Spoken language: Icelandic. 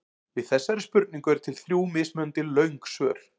Við þessari spurningu eru til þrjú mismunandi löng svör.